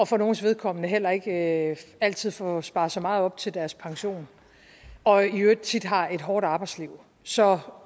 for nogles vedkommende heller ikke altid får sparet så meget op til deres pension og i øvrigt tit har et hårdt arbejdsliv så